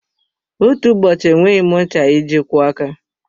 Otú ụbọchị enweghị m ncha iji kwọọ aka.